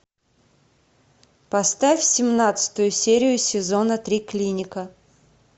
поставь семнадцатую серию сезона три клиника